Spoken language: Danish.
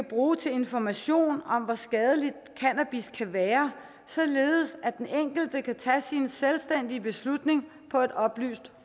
bruge til information om hvor skadeligt cannabis kan være således at den enkelte kan tage sin selvstændige beslutning på et oplyst